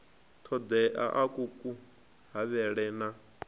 ṱoḓeaho a ku havhele na